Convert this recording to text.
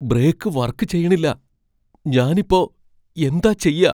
Break work ചെയ്യണില്ല, ഞാനിപ്പോ എന്താ ചെയ്യാ?